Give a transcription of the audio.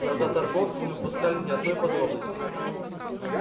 глаза торговца не упускали ни одной подробности